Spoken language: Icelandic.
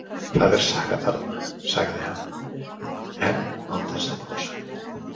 Það er saga þarna, sagði hann, enn án þess að brosa.